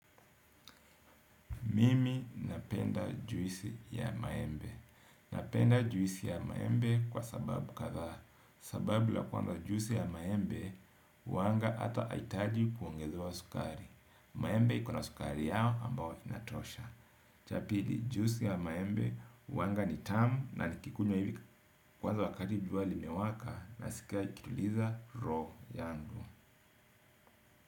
Mimi napenda juisi ya maembe. Napenda juisi ya maembe kwa sababu kadhaa. Sababu la kwanza juisi ya maembe huanga hata haihitaji kuongezewa sukari. Maembe iko na sukari yao ambao inatosha. Cha pili juisi ya maembe huanga ni tamu na nikikunywa hivi. Kwanza wakati jua limewaka nasikia nikituliza roho yangu.